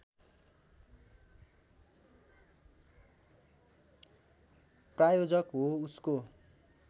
प्रायोजक हो उसको